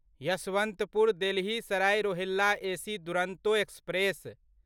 Yesvantpur Delhi Sarai Rohilla AC Duronto express